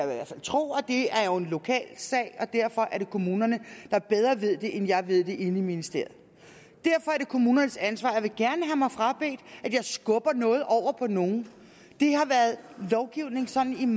hvert fald tro at det er en lokal sag og derfor er kommunerne der bedre ved det end jeg ved det inde i ministeriet derfor er det kommunernes ansvar og jeg vil gerne have mig frabedt at jeg skubber noget over på nogen sådan